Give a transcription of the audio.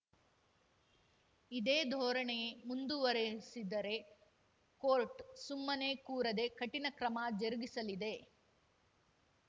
ಇದೇ ಧೋರಣೆ ಮುಂದುವರೆಸಿದರೆ ಕೋರ್ಟ್‌ ಸುಮ್ಮನೆ ಕೂರದೆ ಕಠಿಣ ಕ್ರಮ ಜರುಗಿಸಲಿದೆ